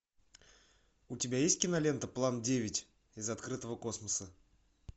у тебя есть кинолента план девять из открытого космоса